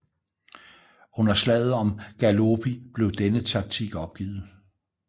Under slaget om Gallipoli blev denne taktik opgivet